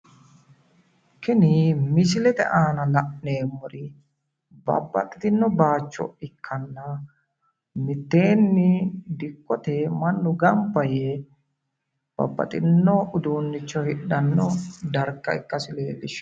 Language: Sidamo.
Tini misilete aana la'neemmori babbaxitino baaycho ikkanna mitteenni dikkote mannu gamba yee babbaxino uduunnicho hidhanno darga ikkasi leellishshanno